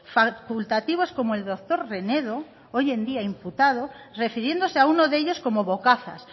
facultativos como el doctor renedo hoy en día imputado refiriéndose a uno de ellos como bocazas